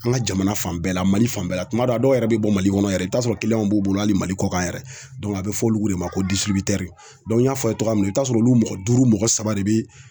An ka jamana fan bɛɛ la Mali fan bɛɛ la tuma dɔw la dɔw yɛrɛ bɛ bɔ Mali kɔnɔ yɛrɛ i bɛ t'a sɔrɔ b'u bolo hali mali kɔkan yɛrɛ a bɛ fɔ olu de ma ko n y'a fɔ a ye cogoya min na i b'a sɔrɔ olu mɔgɔ duuru mɔgɔ saba de bɛ